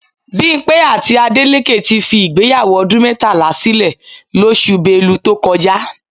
Bímpé àti Adélékè ti fi ìgbéyàwó ọdún mẹ́tàlá sílè lóṣù Belu tó kọjá